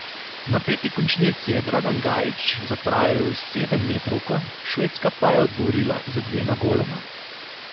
V napeti končnici je Dragan Gajić zapravil sedemmetrovko, Švedska pa je odgovorila z dvema goloma.